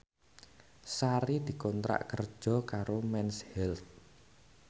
Sari dikontrak kerja karo Mens Health